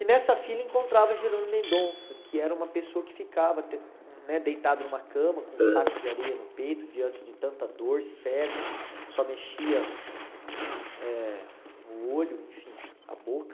E nessa fila encontrava Jerônimo Mendonça, que era uma pessoa que ficava de né deitado numa cama, com um saco de areia no peito, diante de tanta dor, cego, só mexia eh o olho, enfim, a boca.